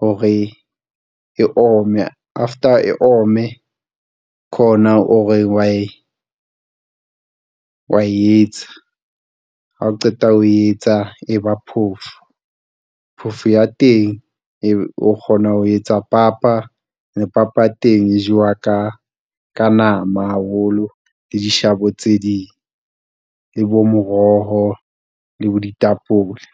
hore e ome. After e ome ke ona o re wa e wa etsa ha o qeta ho etsa e ba phofo. Phofo ya teng o kgona ho etsa papa le papa ya teng e jewa ka ka nama haholo le dishabo tse ding le bo moroho le bo ditapole.